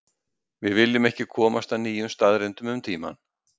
Við viljum ekki komast að nýjum staðreyndum um tímann.